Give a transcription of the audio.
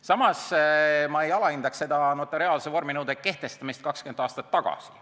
Samas, ma ei alahindaks notariaalse vorminõude kehtestamist 20 aastat tagasi.